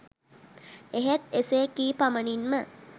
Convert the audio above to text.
එහෙත් එසේ කී පමණින්ම